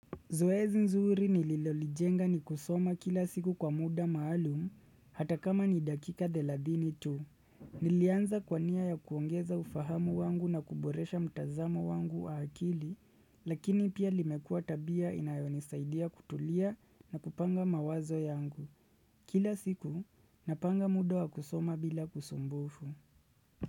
Zoezi nzuri nililolijenga ni kusoma kila siku kwa muda maalum, ata kama ni dakika thelathini tu. Nilianza kwa nia ya kuongeza ufahamu wangu na kuboresha mtazamo wangu wa akili, lakini pia limekua tabia inayonisaidia kutulia na kupanga mawazo yangu. Kila siku, napanga muda wa kusoma bila kusumbufu.